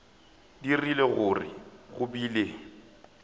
dirile gore go be le